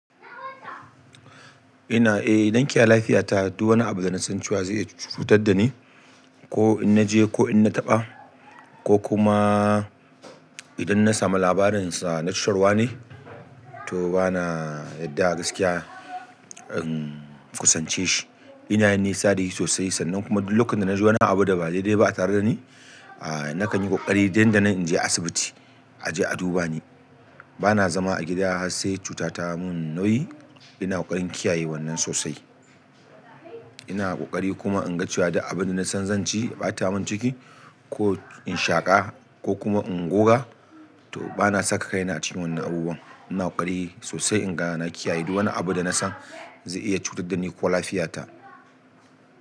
Ina iya zan kiyaye lafiya ta duk wani abu da zaya cutar da ni ko in naje ko in na taɓa ko kuma idan na samu labarinsa na cutarwane, to bana yadda gaskiya in kusance shi. Ina nisa da shi sosai sannan kuma duk lokacin da na ji wani abu da ba daidai ba a tare da ni, a nakan yi ƙoƙari nan da nan in je asibiti a je a duba ni. Bana zama a gida har sai cuta ta mun nauyi, ina ƙoƙarin kiyaye wannan sosai. Ina ƙoƙari kuma in ga cewa duk abin da na san zan ci ya ɓata mun ciki ko in shaƙa ko kuma in goga, to bana saka kaina cikin wannan abubuwan. Ina ƙoƙari sosai in ga na kiyaye duk wani abu da na san zai iya cutar da ni ko lafiyata.